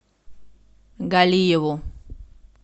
галиеву